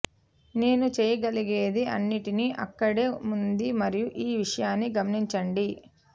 నేను చేయగలిగేది అన్నింటినీ అక్కడే ఉంది మరియు ఈ విషయాన్ని గమనించండి